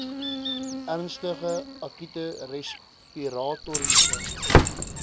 ernstige akute respiratoriese